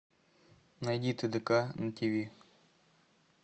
найди тдк на тв